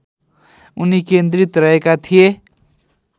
उनी केन्द्रित रहेका थिए